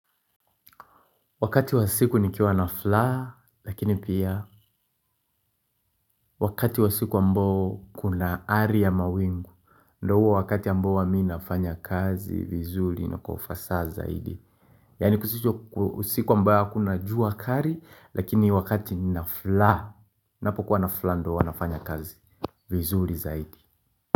Wakati wa siku nikiwa na fulaha, lakini pia wakati wa siku ambao kuna ari ya mawingu, ndo huwa wakati ambao huwa mi nafanya kazi, vizuri na kwa ufasaha zaidi. Yaani kusicho ku siku ambayo hakuna jua kali, lakini wakati nafulaa, napokuwa na fulaha ndo huwa nafanya kazi, vizuri zaidi.